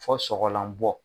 Fɔ sogolan bɔ